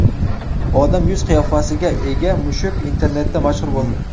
Odam yuz-qiyofasiga ega mushuk internetda mashhur bo‘ldi .